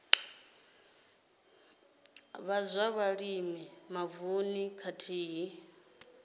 vha zwa vhulimi mavununi khathihi